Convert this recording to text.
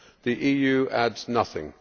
the EU adds nothing.